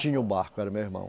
Tinha o barco, era meu irmão.